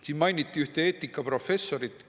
Siin mainiti ühte eetikaprofessorit.